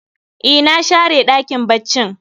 E, na share ɗakin baccin